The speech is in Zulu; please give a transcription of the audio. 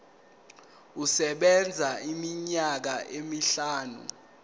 isebenza iminyaka emihlanu